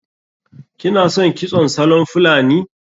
Kina son kitson salon fulani?